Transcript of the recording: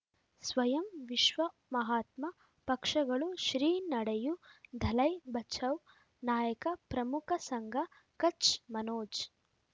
ಸ್ವಯಂ ವಿಶ್ವ ಮಹಾತ್ಮ ಪಕ್ಷಗಳು ಶ್ರೀ ನಡೆಯೂ ದಲೈ ಬಚೌ ನಾಯಕ ಪ್ರಮುಖ ಸಂಘ ಕಚ್ ಮನೋಜ್